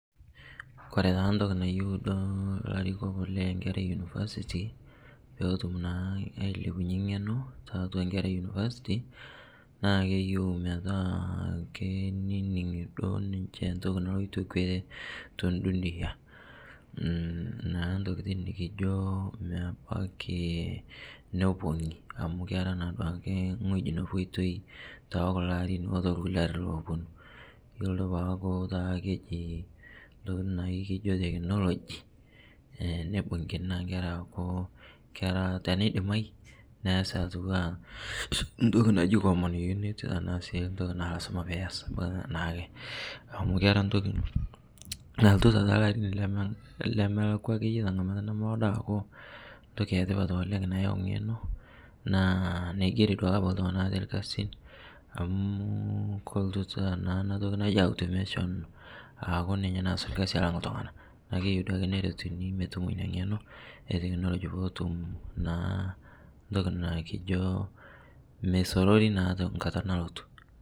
Kore taa ntoki nayeu duo larikok lenkera e university pootum naa ailepunye ng'eno taatua nkera e university naa keyeu metaa keinining' duo ninshe ntoki naloito kwee te ndunia naa ntokitin nikijoo mebaki nopuo inie amu kera naaduake ng'oji nepoitoi tekuloo arin oltolkulie arin oponuu iyolo duo taa peaku kejii ntokitin naa ikijo technology, neibung'kini naa nkera aaku kera teneidimai neasi atuwaa ntoki naji common unit tanaa sii ntoki aa lazima piyas abaki naake amu kera ntoki naltutaa talarin lemelakwa akeye tang'amata nomoodo aaku ntoki etipat oleng' nayau ng'eno naa naigerie abaki duake ltung'ana atee lkazin amu koltutaa naa ana tokii najii automation aaku ninye naaz lkazi alang' ltung'ana naa keyeu duake neretuni metumo inia ng'eno eteknologi pootum naa ntoki naakijo meisororii naa tankata nalotuu.